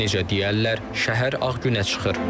Necə deyərlər, şəhər Ağ günə çıxır.